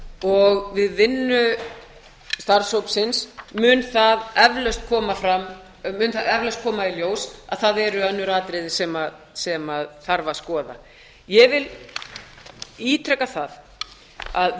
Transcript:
og við vinnu starfshópsins mun það eflaust koma í ljós að það eru önnur atriði sem þarf að skoða ég vil ítreka að